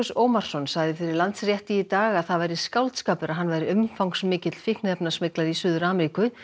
Ómarsson sagði fyrir Landsrétti í dag að það væri skáldskapur að hann væri umfangsmikill í Suður Ameríku